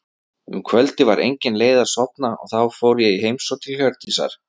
Um kvöldið var engin leið að sofna og þá fór ég í heimsókn til Hjördísar.